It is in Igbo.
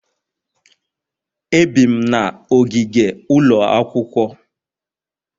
Ebi'm na ogige ụlọ akwụkwọ